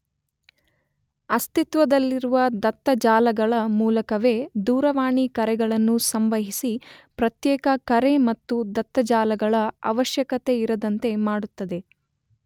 ಅಸ್ತಿತ್ವದಲ್ಲಿರುವ ದತ್ತ ಜಾಲಗಳ ಮೂಲಕವೇ ದೂರವಾಣಿ ಕರೆಗಳನ್ನು ಸಂವಹಿಸಿ ಪ್ರತ್ಯೇಕ ಕರೆ ಮತ್ತು ದತ್ತ ಜಾಲಗಳ ಅವಶ್ಯಕತೆಯಿರದಂತೆ ಮಾಡುತ್ತದೆ.